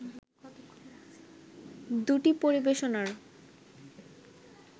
দুটি পরিবেশনার